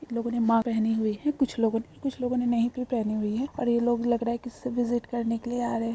लोगो ने मास्क पहने हुए है कुछ लोगो ने कुछ लोगो ने नहीं भी पहने हुए है ये लोग लग रहा है विजिट करने के लिए आ रहे है।